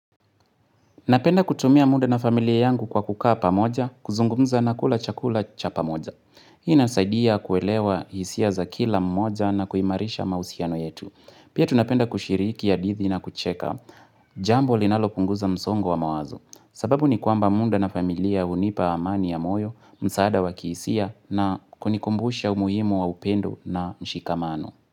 Napenda kutumia muda na familia yangu kwa kukaa pamoja, kuzungumza na kula chakula cha pamoja. Hii inasaidia kuelewa hisia za kila mmoja na kuimarisha mahusiano yetu. Pia tunapenda kushiriki hadithi na kucheka, jambo linalopunguza msongo wa mawazo. Sababu ni kwamba muda na familia hunipa amani ya moyo, msaada wa kihisia na kunikumbusha umuhimu wa upendo na mshikamano.